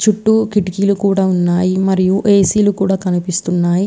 చుట్టూ కిటికీలు కూడా ఉన్నాయి. మరియు ఏసీ లు కూడా కనిపిస్తున్నాయి.